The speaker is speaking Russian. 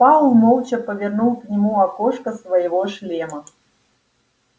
пауэлл молча повернул к нему окошко своего шлема